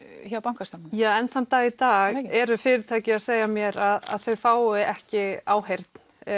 hjá bankastofnunum enn þann dag í dag eru fyrirtæki að segja mér að þau fái ekki áheyrn